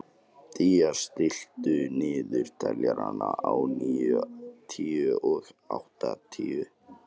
Día, stilltu niðurteljara á níutíu og átta mínútur.